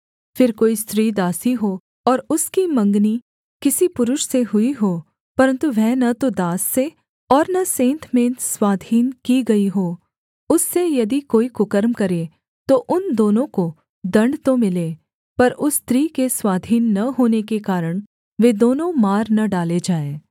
फिर कोई स्त्री दासी हो और उसकी मंगनी किसी पुरुष से हुई हो परन्तु वह न तो दास से और न सेंतमेंत स्वाधीन की गई हो उससे यदि कोई कुकर्म करे तो उन दोनों को दण्ड तो मिले पर उस स्त्री के स्वाधीन न होने के कारण वे दोनों मार न डाले जाएँ